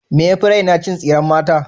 Me yafi raina? Cin tsiren mata.